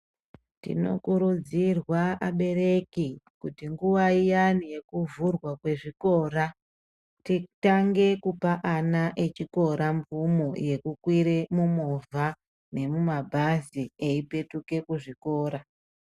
Tinokurudzirwa abereki kuti nguwa iyani yekuvhurwa kwezvikora titange kupa ana echikora mvumo yekukwire mumovha nemumabhazi, eipetuka kuzvikora.